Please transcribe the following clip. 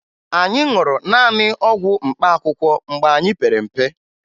Anyị ṅụrụ naanị ọgwụ mkpaakụkọ mgbe anyị pere mpe